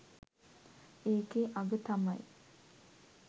ඒකෙ අග තමයි